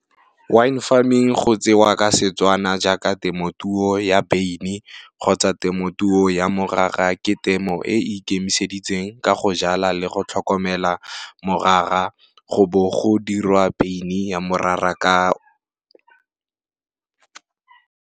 Wine farming go tsewa ka setswana jaaka temotuo ya beine kgotsa temotuo ya morara ke temo e ikemiseditseng ka go jala le go tlhokomela morara go bo go dirwa beine ya morara ka.